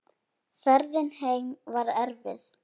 Ferðin heim var erfið.